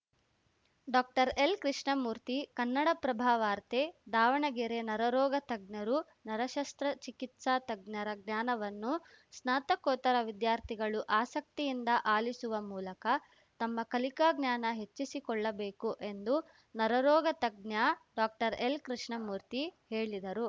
ಡಾಕ್ಟರ್ಎಲ್‌ಕೃಷ್ಣಮೂರ್ತಿ ಕನ್ನಡಪ್ರಭವಾರ್ತೆ ದಾವಣಗೆರೆ ನರ ರೋಗ ತಜ್ಞರು ನರ ಶಸ್ತ್ರಚಿಕಿತ್ಸಾ ತಜ್ಞರ ಜ್ಞಾನವನ್ನು ಸ್ನಾತಕೋತ್ತರ ವಿದ್ಯಾರ್ಥಿಗಳು ಆಸಕ್ತಿಯಿಂದ ಆಲಿಸುವ ಮೂಲಕ ತಮ್ಮ ಕಲಿಕಾ ಜ್ಞಾನ ಹೆಚ್ಚಿಸಿಕೊಳ್ಳಬೇಕು ಎಂದು ನರರೋಗ ತಜ್ಞ ಡಾಕ್ಟರ್ಎಲ್‌ಕೃಷ್ಣಮೂರ್ತಿ ಹೇಳಿದರು